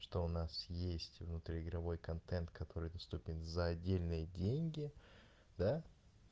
что у нас есть внутри игровой контент который доступен за отдельные деньги да